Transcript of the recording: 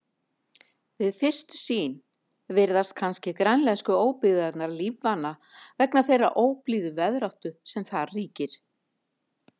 Við fyrstu sýn virðast kannski grænlensku óbyggðirnar lífvana vegna þeirrar óblíðu veðráttu sem þar ríkir.